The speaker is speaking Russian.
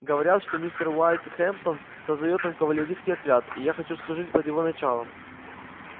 говорят что мистер уэйд хэмптон создаёт там кавалерийский отряд и я хочу служить под его началом